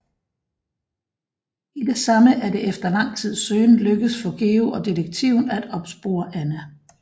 I det samme er det efter lang tids søgen lykkedes for Georg og detektiven at opspore Anna